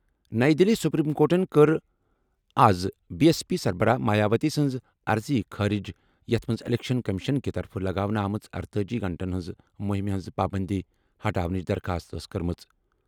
نَیہِ دِلہِ سپریم کورٹَن کٔر آز بی ایس پی سربراہ مایاوتی سٕنٛز عرضی خٲرج یَتھ منٛز الیکشن کمیشن کہِ طرفہٕ لگاونہٕ آمٕژ ارتأجی گھنٹَن ہٕنٛز مُہِمہِ ہِنٛز پابٔنٛدی ہٹاونٕچ درخواست ٲس کٔرمٕژ